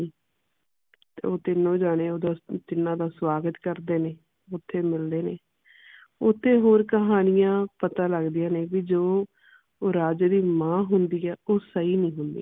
ਉਹ ਤੀਨੋ ਜਣੇ ਓਹਦਾ ਅਹ ਤਿੰਨਾਂ ਦਾ ਸੁਆਗਤ ਕਰਦੇ ਨੇ ਉਥੇ ਮਿਲਦੇ ਨੇ ਉਥੇ ਹੋਰ ਕਹਾਣੀਆਂ ਪਤਾ ਲੱਗਦੀਆਂ ਨੇ ਵੀ ਜੋ ਰਾਜੇ ਦੀ ਮਾਂ ਹੁੰਦੀ ਆ ਉਹ ਸਹੀ ਨਹੀਂ ਹੁੰਦੀ